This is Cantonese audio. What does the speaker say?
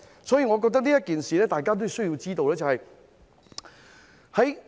所以，我覺得大家都需要知道一件事。